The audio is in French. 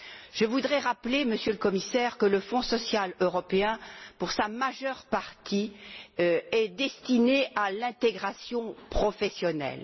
Je voudrais rappeler, Monsieur le Commissaire, que le Fonds social européen, pour sa majeure partie, est destiné à l'intégration professionnelle.